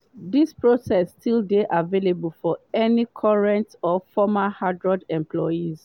dis process still dey available for any current or former harrods employees.